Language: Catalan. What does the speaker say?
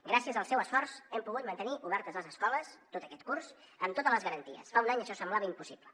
gràcies al seu esforç hem pogut mantenir obertes les escoles tot aquest curs amb totes les garanties fa un any això semblava impossible